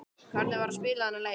Hvernig var að spila þennan leik?